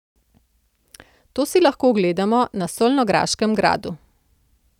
To si lahko ogledamo na solnograškem gradu.